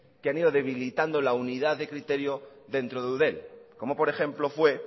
que han ido debilitando la unidad de criterio dentro de eudel como por ejemplo fue